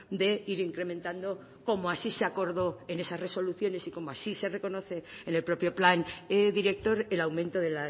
de ir incrementando como así se acordó en esa resoluciones y como así se reconoce en el propio plan director el aumento de